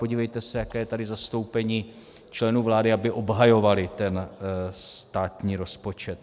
Podívejte se, jaké je tady zastoupení členů vlády, aby obhajovali ten státní rozpočet.